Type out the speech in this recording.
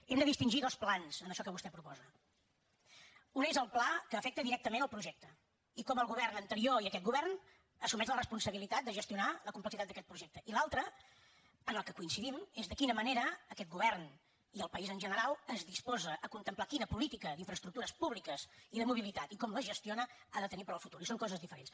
hem de distingir dos plans en això que vostè proposa un és el pla que afecta directament el projecte i com el govern anterior i aquest govern assumeix la responsabilitat de gestionar la complexitat d’aquest projecte i l’altre en què coincidim és de quina manera aquest govern i el país en general es disposa a contemplar quina política d’infraestructures públiques i de mobilitat i com les gestiona ha de tenir per al futur i són coses diferents